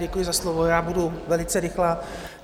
Děkuji za slovo, já budu velice rychlá.